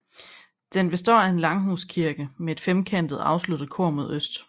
Den består af en langhuskirke med et femkantet afsluttet kor mod øst